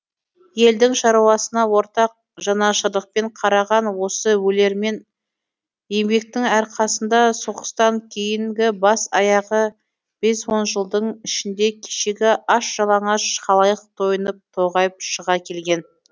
елдің шаруасына ортақ жанашырлықпен қараған осы өлермен еңбектің арқасында соғыстан кейінгі бас аяғы бес он жылдың ішінде кешегі аш жалаңаш халайық тойынып тоғайып шыға келген